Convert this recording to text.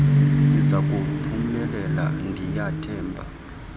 sizaku phumelela ndiyathemba